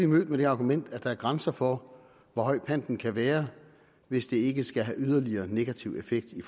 mødt med det argument at der er grænser for hvor høj panten kan være hvis det ikke skal have yderligere negativ effekt i